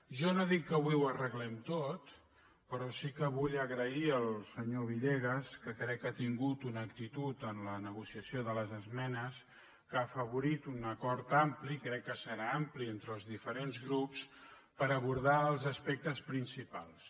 jo no dic que avui ho arreglem tot però sí que vull agrair al senyor villegas que crec que ha tingut una actitud en la negociació de les esmenes que ha afavo·rit un acord ampli crec que serà ampli entre els dife·rents grups per abordar els aspectes principals